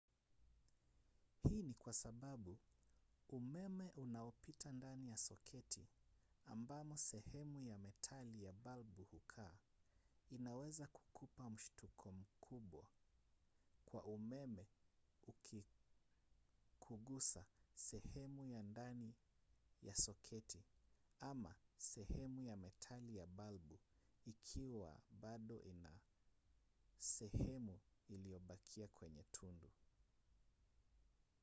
hii ni kwa sababu umeme unaopita ndani ya soketi ambamo sehemu ya metali ya balbu hukaa unaweza kukupa mshtuko mkubwa wa umeme ukikugusa sehemu ya ndani ya soketi ama sehemu ya metali ya balbu ikiwa bado ina sehemu iliyobakia kwenye tundu